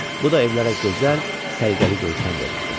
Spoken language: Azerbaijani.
Bu da evlərə gözəl, səliqəli görkəm verirdi.